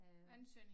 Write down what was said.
Ansøgning